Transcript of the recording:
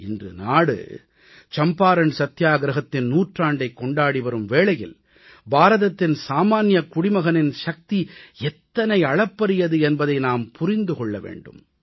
இன்று நாடு சம்பாரண் சத்தியாகிரஹத்தின் நூற்றாண்டைக் கொண்டாடி வரும் வேளையில் பாரதத்தின் சாமான்யக் குடிமகனின் சக்தி எத்தனை அளப்பரியது என்பதை நாம் புரிந்து கொள்ள வேண்டும்